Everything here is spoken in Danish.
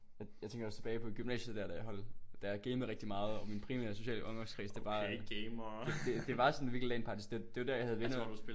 Men jeg tænker også tilbage på i gymnasiet der da jeg holdt da jeg gamede rigtig meget og min primære sociale omgangskreds det var det det var sådan virkelig LAN parties det det var der jeg havde venner